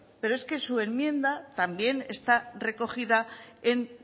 pero es que su enmienda también está recogida en